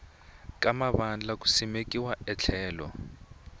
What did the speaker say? ka mavandla ku simeka endlelo